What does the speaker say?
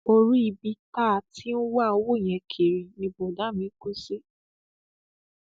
orí ibi tá a ti ń wá owó yẹn kiri ni bọdà mi kù sí